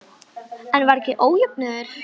En var ekki ójöfnuður?